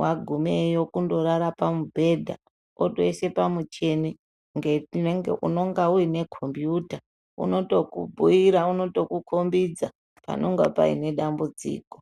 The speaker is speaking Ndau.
Wagumeyo kundorara pamubhedha wotoise pamuchini nge unonga uinekombuta unotokubhuyira, unotokukombedza panenge paine dambudziko .